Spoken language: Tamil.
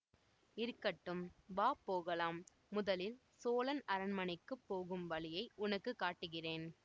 இருக்கட்டும் வா போகலாம் முதலில் சோழன் அரண்மனைக்கு போகும் வழியை உனக்கு காட்டுகிறேன்